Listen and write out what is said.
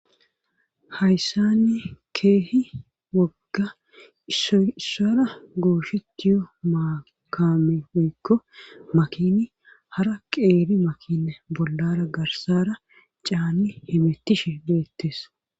Hayssanni keehi wogga issoy issara gooshettiyo maa kame woykko makini hara qeeri makine bollara garsara caanni hemettishe beettes.